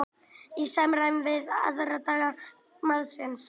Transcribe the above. Í samræmi við aðdraganda málsins